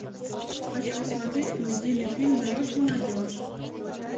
хочу посмотреть комедийный фильм даешь молодежь